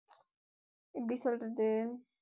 எப்படி சொல்றது